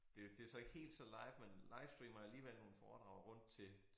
Det jo det så ikke helt så live men livestreamer alligevel nogle foredrag rundt til